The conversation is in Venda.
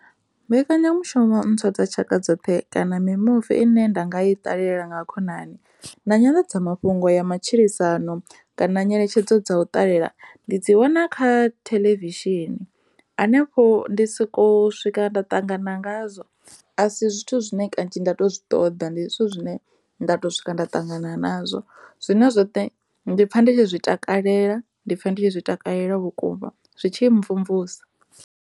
Mbekenyamusho ntswa dza tshaka dzoṱhe kana mimuvi ine nda nga i ṱalela nga khonani na nyanḓadza mafhungo ya matshilisano kana ngeletshedzo dza u ṱalela ndi dzi wana kha theḽevishini hanefho ndi soko swika nda ṱangana ngazwo a si zwithu zwine kanzhi nda to ṱoḓa ndi zwithu zwine nda to swika nda ṱangana nazwo zwine zwoṱhe ndi a pfha ndi tshi zwi takalela, ndi pfha ndi tshi zwi takalela vhukuma zwi tshi mmvumvusa.